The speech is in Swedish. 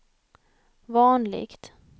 vanligt